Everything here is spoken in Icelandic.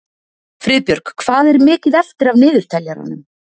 Friðbjörg, hvað er mikið eftir af niðurteljaranum?